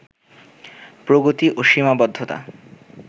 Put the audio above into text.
প্রগতি ও সীমাবদ্ধতা